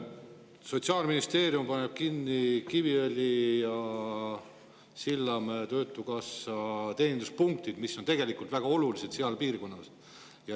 Sotsiaalministeerium paneb kinni Kiviõlis ja Sillamäel töötukassa teeninduspunktid, mis on tegelikult väga olulised seal piirkonnas.